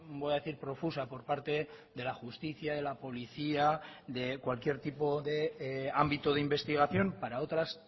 voy a decir profusa por parte de la justicia de la policía de cualquier tipo de ámbito de investigación para otras